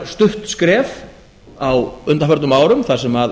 sárastutt skref á undanförnum árum þar sem